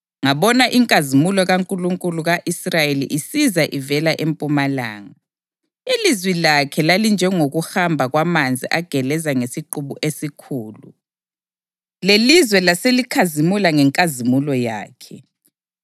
ngabona inkazimulo kaNkulunkulu ka-Israyeli isiza ivela empumalanga. Ilizwi lakhe lalinjengokuhamba kwamanzi ageleza ngesiqubu esikhulu, lelizwe laselikhazimula ngenkazimulo yakhe.